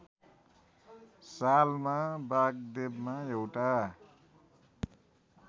सालमा वागदेवमा एउटा